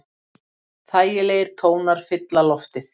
Þægilegir tónar fylla loftið.